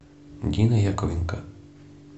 дина яковленко